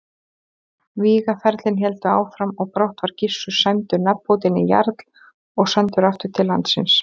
Vígaferlin héldu áfram og brátt var Gissur sæmdur nafnbótinni jarl og sendur aftur til landsins.